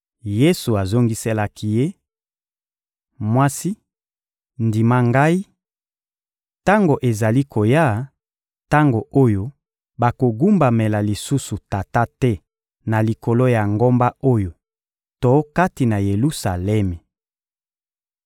Yesu azongiselaki ye: — Mwasi, ndima Ngai: tango ezali koya, tango oyo bakogumbamela lisusu Tata te na likolo ya ngomba oyo to kati na Yelusalemi.